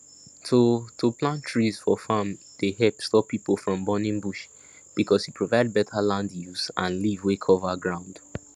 to to plant trees for farm dey help stop people from burning bush because e provide better land use and leaf wey cover ground